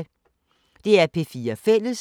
DR P4 Fælles